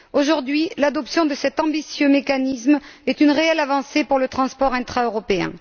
Aujourd'hui, l'adoption de cet ambitieux mécanisme est une réelle avancée pour le transport intraeuropéen.